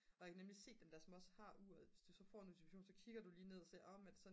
og jeg kan nemlig se at dem som også har uret hvis du så får notifikation så kigger du lige ned og ser men er det